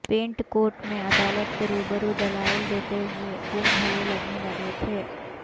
pant coat میں عدالت کے روبرو دلائل دیتے ہوئے وہ بھلے لگنے لگے تھے